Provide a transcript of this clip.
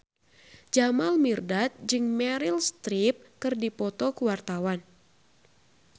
Jamal Mirdad jeung Meryl Streep keur dipoto ku wartawan